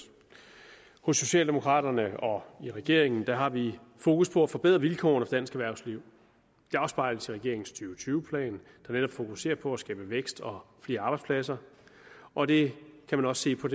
hos socialdemokraterne og i regeringen har vi fokus på at forbedre vilkårene for dansk erhvervsliv det afspejler sig i og tyve plan der netop fokuserer på at skabe vækst og flere arbejdspladser og det kan man også se på